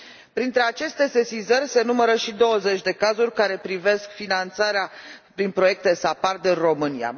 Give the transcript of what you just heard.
Printre aceste sesizări se numără și 20 de cazuri care privesc finanțarea prin proiecte SAPARD în România.